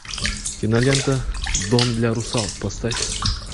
кинолента дом для русалок поставь